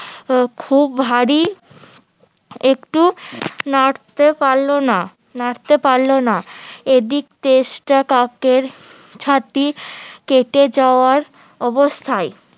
খুব ভারী একটু নাড়তে পারলো না নাড়তে পারলো না এদিক চেষ্টা কাকের ছাতি কেটে যাওয়ার অবস্থায়